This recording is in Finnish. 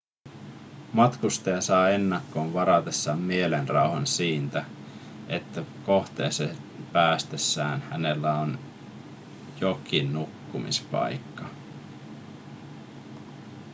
matkustaja saa ennakkoon varatessaan mielenrauhan siitä että kohteeseen päästessään hänellä on jokin nukkumispaikka